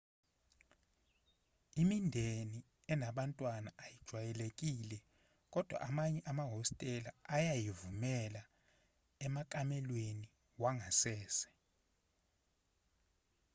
imindeni enabantwana ayijwayelekile kodwa amanye amahostela ayayivumela emakamelweni wangasese